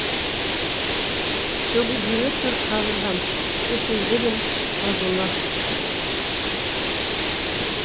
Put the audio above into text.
сөгілгелі тұр қабырғам кеселдімін жазылмас